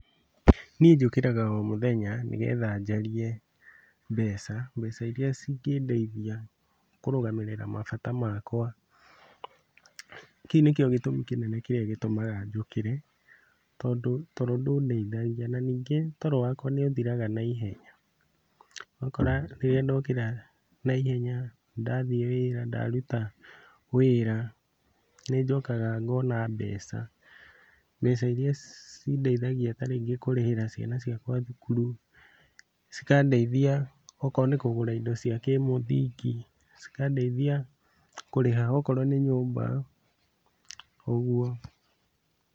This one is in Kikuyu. Niĩ njũkĩraga o mũthenya nĩgetha njarie mbeca, mbeca iria cingĩndeithia kũrũgamĩrĩra mabata makwa, kĩu nĩkĩo gĩtũmi kĩnene kĩrĩa gĩtũmaga njũkĩre, tondũ toro ndũndeithagia, na ningĩ toro wakwa nĩũthiraga naihenya, ũgakora rĩrĩa ndokĩra naihenya, ndathiĩ wĩra ndaruta wĩra nĩnjokaga ngona mbeca, mbeca iria cindeithagia ta rĩngĩ kũrĩhĩra ciana ciakwa thukuru, cikandeithia okorwo nĩ kũgũra indo cia kĩmũthingi, cikandeithia kũrĩha okorwo nĩ nyũmba, ũguo.